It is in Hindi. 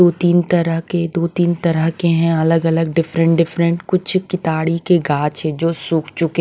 दो तीन तरह के दो-तीन तरह के हैं अलग-अलग डिफरेंट डिफरेंट कुछ किताड़ी के गाछ है जो सूख चुके--